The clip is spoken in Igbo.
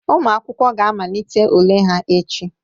Ụmụ akwụkwọ ga-amalite ule ha echi.